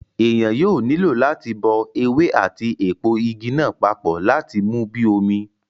Èèyàn yóò nílò láti bọ ewé àti èpo Igi náà papọ láti mú bíi omi